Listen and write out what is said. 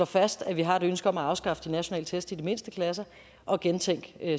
fast at vi har et ønske om at afskaffe de nationale test i de mindste klasser og gentænke